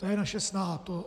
To je naše snaha.